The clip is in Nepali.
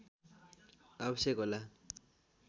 आवश्यक होला